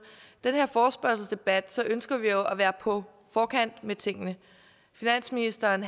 den her forespørgselsdebat ønsker vi jo at være på forkant med tingene finansministeren